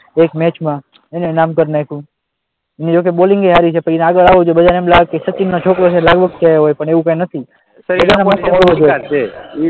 એક મેચમાં એને નામ કરી નાખ્યું એની જોકે બોલિંગ સારી છે પણ એને આગળ આવવું છે બધાને એવું લાગે સચિનનો છોકરો છે લાગવગ થી આવ્યો હોય, પણ એવું કઈ નથી છે